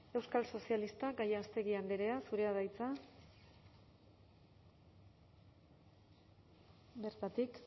euskal sozialistak gallástegui andrea zurea da hitza bertatik